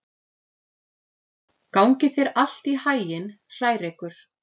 Gangi þér allt í haginn, Hrærekur.